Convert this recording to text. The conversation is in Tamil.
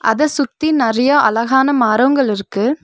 அத சுத்தி நறையா அழகான மரோங்கள் இருக்கு.